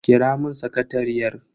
Kira mun sakatariyar.